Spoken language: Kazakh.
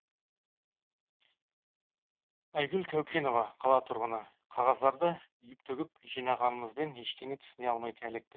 айгүл кәукенова қала тұрғыны қағаздарды үйіп төгіп жинағанымызбен ештеңе түсіне алмай әлек